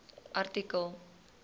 artikel